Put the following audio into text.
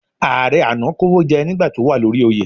Ààrẹ àná kówójẹ́ ní ìgbà tó wà lórí oyè.